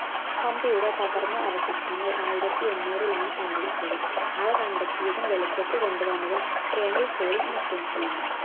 ഹംപിയുടെ തകർന്ന അവശിഷ്ട്ടങ്ങൾ ആയിരത്തി എണ്ണൂറിലാണ് കണ്ടെത്തിയത് അവ കണ്ടെത്തിയതും വെളിച്ചത്ത് കൊണ്ടുവന്നതും കെർണൽ കോളിൻ മെക്കൻസി ആണ്